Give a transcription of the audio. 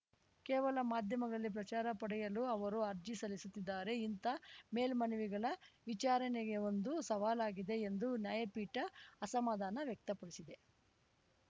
ಕೇವಲ ಮಾಧ್ಯಮಗಳಲ್ಲಿ ಪ್ರಚಾರ ಪಡೆಯಲು ಅವರು ಅರ್ಜಿ ಸಲ್ಲಿಸುತ್ತಿದ್ದಾರೆ ಇಂಥ ಮೇಲ್ಮನವಿಗಳ ವಿಚಾರಣೆಯೇ ಒಂದು ಸವಾಲಾಗಿದೆ ಎಂದು ನ್ಯಾಯಪೀಠ ಅಸಮಾಧಾನ ವ್ಯಕ್ತಪಡಿಸಿದೆ